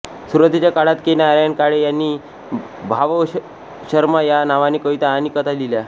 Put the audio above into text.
सुरुवातीच्या काळात के नारायण काळे यांनी भावशर्मा या नावाने कविता आणि कथा लिहिल्या